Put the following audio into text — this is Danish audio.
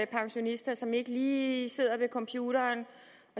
pensionister som ikke lige sidder ved computeren